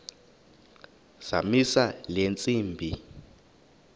zamisa le ntsimbi